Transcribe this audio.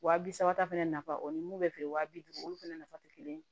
Wa bi saba ta fɛnɛ nafa o ni mun bɛ feere wa bi duuru olu fɛnɛ nafa tɛ kelen ye